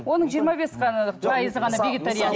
оның жиырма бес қана пайызы ғана